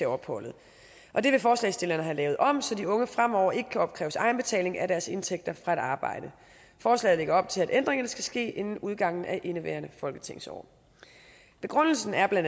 opholdet og det vil forslagsstillerne have lavet om så de unge fremover ikke kan opkræves egenbetaling af deres indtægter fra et arbejde forslaget lægger op til at ændringerne skal ske inden udgangen af indeværende folketingsår begrundelsen er bla